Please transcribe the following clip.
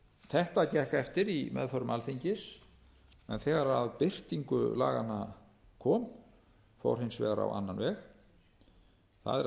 þetta gekk eftir í meðförum alþingis en þegar að birtingu laganna kom fór hins vegar á annan veg það er